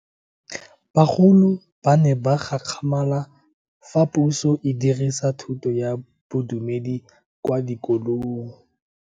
Bagolo ba ne ba gakgamala fa Puso e fedisa thuto ya Bodumedi kwa dikolong.